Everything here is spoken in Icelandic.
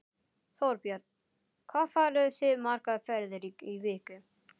Þorbjörn: Hvað farið þið margar ferðir í viku?